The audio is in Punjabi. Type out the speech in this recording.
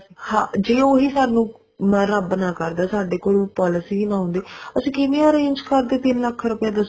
ਹਾਂ ਜੇ ਉਹੀ ਸਾਨੂੰ ਰੱਬ ਨਾ ਕਰਦਾ ਸਾਡੇ ਕੋਲ ਉਹ policy ਨਾ ਹੁੰਦੀ ਅਸੀਂ ਕਿਵੇਂ arrange ਕਰਦੇ ਤਿੰਨ ਲੱਖ ਰੁਪਿਆ ਦੱਸੋ